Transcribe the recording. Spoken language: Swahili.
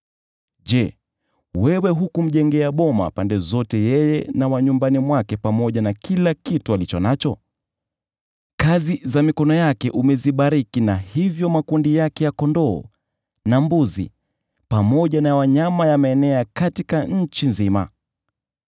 Je, wewe hukumjengea boma pande zote yeye na wa nyumbani mwake pamoja na kila kitu alicho nacho? Kazi za mikono yake umezibariki na hivyo makundi yake ya kondoo na mbuzi pamoja na ya wanyama yameenea katika nchi nzima.